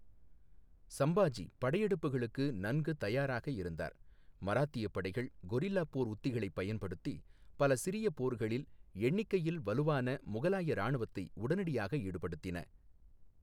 சம்பாஜி படையெடுப்புகளுக்கு நன்கு தயாராக இருந்தார், மராத்திய படைகள் கொரில்லா போர் உத்திகளைப் பயன்படுத்தி பல சிறிய போர்களில் எண்ணிக்கையில் வலுவான முகலாய இராணுவத்தை உடனடியாக ஈடுபடுத்தின.